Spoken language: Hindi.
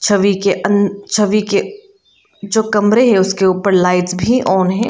छवि के अन छवि के जो कमरे हैं उसके ऊपर लाइट्स भी ऑन है।